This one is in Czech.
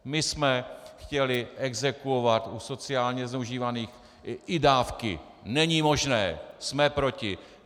My jsme chtěli exekuovat u sociálně zneužívaných i dávky - není možné, jsme proti!